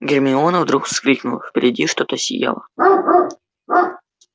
гермиона вдруг вскрикнула впереди что-то сияло